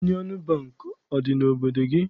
Yunịọn Bankị, adị n'obodo gị?